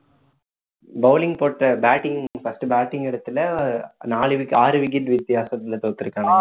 bowling போட்ட batting first batting எடத்துல நாலு wicket ஆறு wicket வித்தியாசத்துல தோத்துருக்காங்க